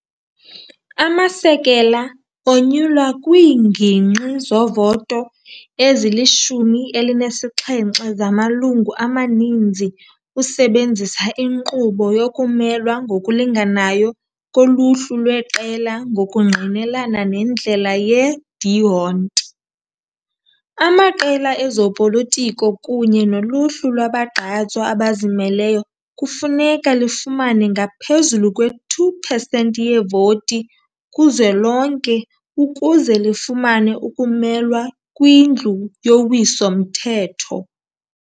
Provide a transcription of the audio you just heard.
Amasekela onyulwa kwiingingqi zovoto ezili-17 zamalungu amaninzi usebenzisa inkqubo yokumelwa ngokulinganayo koluhlu lweqela ngokungqinelana nendlela ye-D'Hondt. Amaqela ezopolitiko kunye noluhlu lwabagqatswa abazimeleyo kufuneka lifumane ngaphezulu kwe-2 percent yevoti kuzwelonke ukuze lifumane ukumelwa kwiNdlu yoWiso-mthetho.